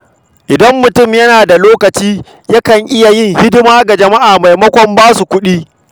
Idan mutum yana da lokaci, yana iya yin hidima ga jama'a maimakon basu kuɗi.